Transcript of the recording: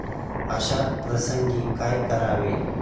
अशा प्रसंगी काय करावे?